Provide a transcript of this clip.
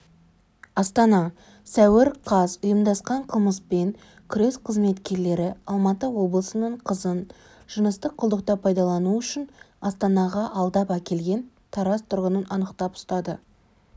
астана сәуір қаз ұйымдасқан қылмыспен күрес қызметкерлері алматы облысының қызын жыныстық құлдықта пайдалану үшін астанаға алдап әкелген тараз тұрғынын анықтап ұстады